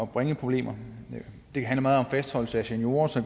bringe problemer det handler meget om fastholdelse af seniorer så